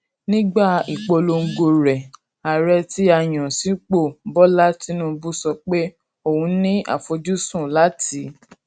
nígbà ìpolongo rẹ ààrẹ tí a yàn sípò bola tinubu sọ pé òun ní àfojúsùn láti